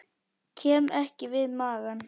Ég kem við magann.